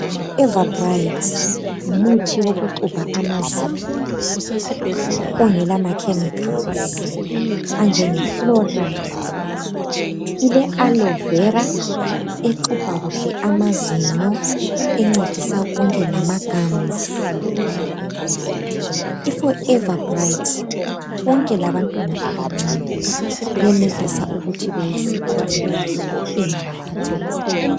iforever bright ngumuthi owokuxubha amazinyo ongelamakhemikhalizi anjengefloride, ile alovera exubha kuhle amazinyo encedisa konke lama gums, iforever bright konke labantwana benelisa ukuthi beyisebenzise ingabakhathazi.